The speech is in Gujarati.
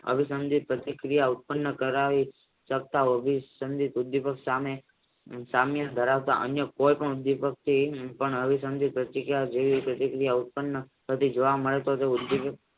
અભિસંદિત પ્રતિક્રિયા ઉત્પન્ન કરાવી સામીલ ધરાવતા અન્ય કોઈ ઉદ્વિપક પણ અભિસંદિત પ્રતિક્રિયા જેવી જોવા મળે તો તે ઉદ્વિપક